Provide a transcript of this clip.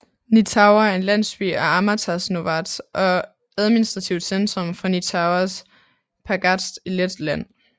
Nītaure er en landsby i Amatas novads og administrativt centrum for Nītaures pagasts i Letland